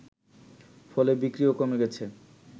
ফলে বিক্রিও কমে গেছে